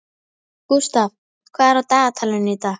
Gústav, hvað er á dagatalinu í dag?